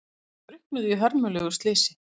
Drukknuðu í hörmulegu slysi